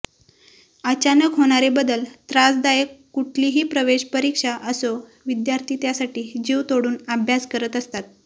अचानक होणारे बदल त्रासदायक कुठलीही प्रवेश परीक्षा असो विद्यार्थी त्यासाठी जीव तोडून अभ्यास करत असतात